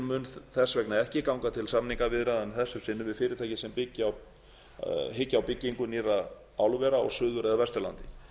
mun þess vegna ekki ganga til samningaviðræðna að þessu sinni við fyrirtæki sem hyggja á byggingu nýrra álvera á suður eða vesturlandi